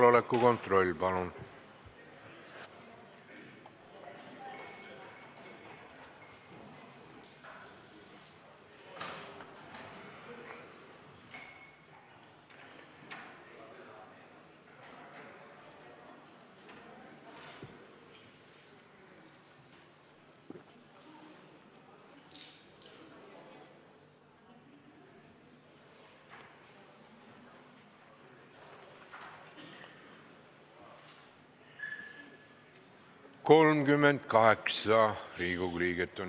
Kohaloleku kontroll Infotunnis on 38 Riigikogu liiget.